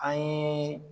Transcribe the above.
An ye